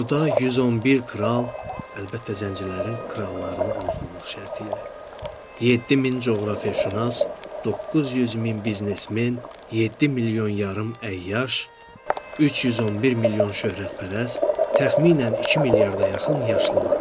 Burda 111 kral, əlbəttə zəncilərin krallarını unutmamaq şərtilə, 7000 coğrafiyaçünas, 900 min biznesmen, 7 milyon yarım əyyaş, 311 milyon şöhrətpərəst, təxminən 2 milyarda yaxın yaşlı vardı.